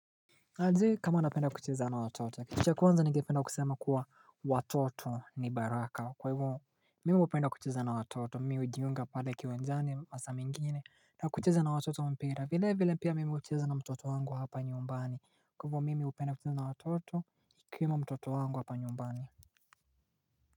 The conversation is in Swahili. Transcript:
Adi kama napenda kucheza na watoto Kishikuwanza nige penda kusema kuwa watoto ni baraka kwa hivo Mimu upenda kuchiza na watoto mi udiyunga pade kiwe njani masami ngini na kuchiza na watoto mpira vile vile pia mimi upenda kucheza na mtoto wangu hapa nyumbani kwa vwa mimi upenda kucheza na watoto nikiwa na mtoto wangu hapa nyumbani.